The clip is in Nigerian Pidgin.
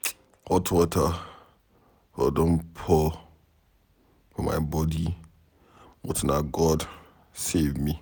Hot water for don pour for my body but na God save me.